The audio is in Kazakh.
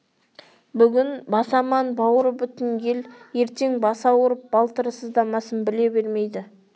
бүгін басы аман бауыры бүтін ел ертең басы ауырып балтыры сыздамасын біле бермейді